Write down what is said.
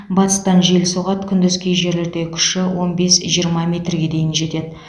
батыстан жел соғады күндіз кей жерлерде күші он бес жиырма метрге дейін жетеді